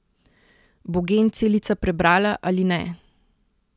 Bo gen celica prebrala ali ne?